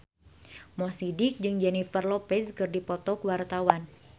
Mo Sidik jeung Jennifer Lopez keur dipoto ku wartawan